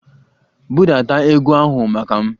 Budata egwu ahụ maka m!